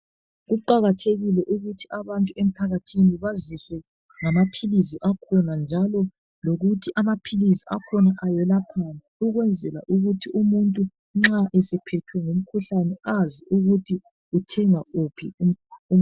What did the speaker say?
Kuqakathekile ukuthi abantu emphakathini baziswe ngamaphilizi akhona njalo lokuthi amaphilizi akhona ayelaphani, ukwenzela ukuthi umuntu nxa esephethwe ngumkhuhlane azi ukuthi uthenga uphi umuthi.